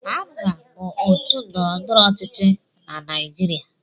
APGA bụ otu ndọrọndọrọ ọchịchị na Naịjirịa.